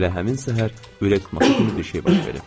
Elə həmin səhər ürək tutması kimi bir şey baş verib.